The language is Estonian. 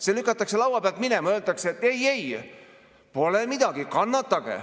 See lükatakse laua pealt minema ja öeldakse, et ei-ei, pole midagi, kannatage.